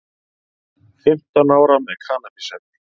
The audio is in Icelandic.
Fimmtán ára með kannabisefni